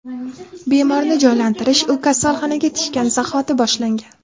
Bemorni jonlantirish u kasalxonaga tushgan zahoti boshlangan.